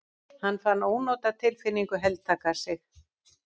Hann fann ónotatilfinningu heltaka sig.